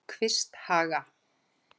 Kvisthaga